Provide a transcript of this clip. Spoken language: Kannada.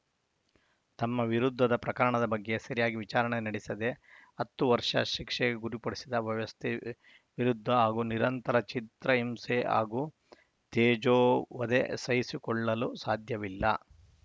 ತಮ್ಮ ವಿರುದ್ಧದ ಪ್ರಕರಣದ ಬಗ್ಗೆ ಸರಿಯಾಗಿ ವಿಚಾರಣೆ ನಡೆಸದೇ ಹತ್ತು ವರ್ಷ ಶಿಕ್ಷೆಗೆ ಗುರಿಪಡಿಸಿದ ವ್ಯವಸ್ಥೆ ವಿರುದ್ಧ ಹಾಗೂ ನಿರಂತರ ಚಿತ್ರಹಿಂಸೆ ಹಾಗೂ ತೇಜೋವಧೆ ಸಹಿಸಿಕೊಳ್ಳಲು ಸಾಧ್ಯವಿಲ್ಲ